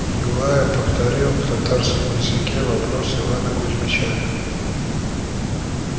юлая повторил в татарском языке вопрос ивана кузмича